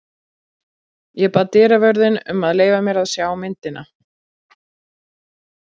Ég bað dyravörðinn um að leyfa mér að sjá myndina.